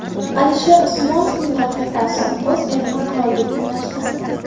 Alisher Usmonovning rafiqasi o‘z erini qirolga tenglashtirdi.